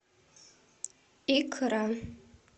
икра